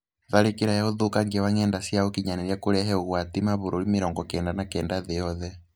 Tharĩkĩra ya ũthũkangia wa ng'eda cia ũkinyanĩria kũrehe ũgwati kũrĩ mabũrũri mĩrongo kenda na kenda thĩ yothe.